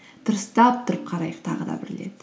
дұрыстап тұрып қарайық тағы да бір рет